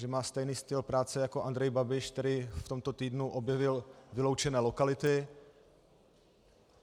Že má stejný styl práce jako Andrej Babiš, který v tomto týdnu objevil vyloučené lokality.